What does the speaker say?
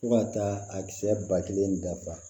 Fo ka taa a kisɛ ba kelen dafa